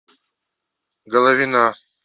головина